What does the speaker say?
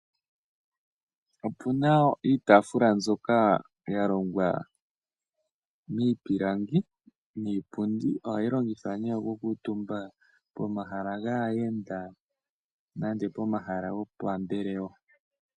Opuna iitaafula mbyoka yalongwa miipilangi niipundi, ohayi longithwa ne okukuutumba pomahala gaayenda nande pomahala gopambelewa.